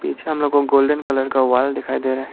पीछे हम लोगों को गोल्डन कलर का वॉल दिखाई दे रहा है।